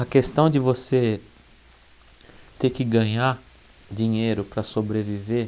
A questão de você ter que ganhar dinheiro para sobreviver,